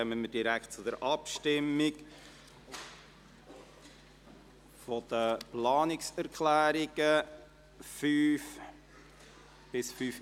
Dann kommen wir direkt zur Abstimmung über die Planungserklärungen 5 bis 5.i.